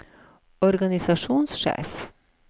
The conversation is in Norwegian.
organisasjonssjef